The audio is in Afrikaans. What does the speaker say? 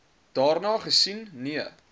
daarna gesien nee